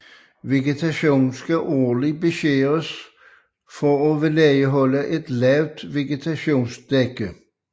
Vegetation skal årligt beskæres for at vedligeholde et lavt vegetationsdække